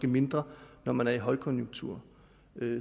mindre når man er i højkonjunktur